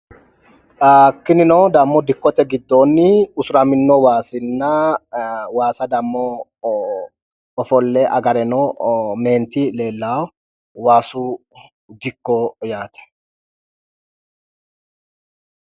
tinino dammo dikkote giddoonni usuraminno waasinna waasa dammo ofolle agareno meenti leellawo waasu dikko yaate